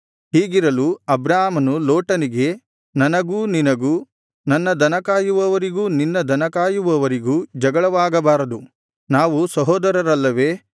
ಹೀಗಿರಲು ಅಬ್ರಾಮನು ಲೋಟನಿಗೆ ನನಗೂ ನಿನಗೂ ನನ್ನ ದನ ಕಾಯುವವರಿಗೂ ನಿನ್ನ ದನ ಕಾಯುವವರಿಗೂ ಜಗಳವಾಗಬಾರದು ನಾವು ಸಹೋದರರಲ್ಲವೇ